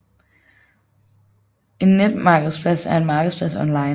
En netmarkedsplads er en markedsplads online